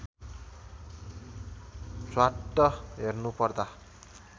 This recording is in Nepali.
झ्वाट्ट हेर्नुपर्दा